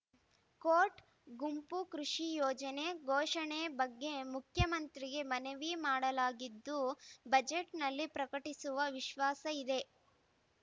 coat ಗುಂಪು ಕೃಷಿ ಯೋಜನೆ ಘೋಷಣೆ ಬಗ್ಗೆ ಮುಖ್ಯಮಂತ್ರಿಗೆ ಮನವಿ ಮಾಡಲಾಗಿದ್ದು ಬಜೆಟ್‌ನಲ್ಲಿ ಪ್ರಕಟಿಸುವ ವಿಶ್ವಾಸ ಇದೆ